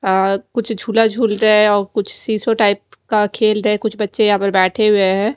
अं कुछ झूला झूल रहे है और कुछ सिसो टाइप का खेल रहे है कुछ बच्चे यहा पर बैठे हुएं हैं।